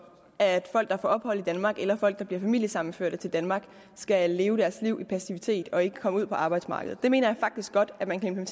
at folk der får ophold i danmark eller folk der bliver familiesammenførte til danmark skal leve deres liv i passivitet og ikke komme ud på arbejdsmarkedet jeg mener faktisk godt at man kan